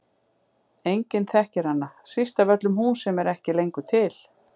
Enginn þekkir hana, síst af öllum hún sem er ekki lengur til.